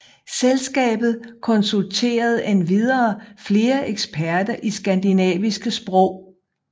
Selskabet konsulterede endvidere flere eksperter i skandinaviske sprog